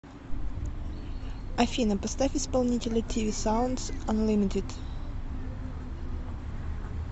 афина поставь исполнителя тиви саундс анлимитед